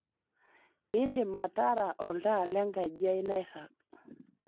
indim atara oltaa lenkaji ai nairag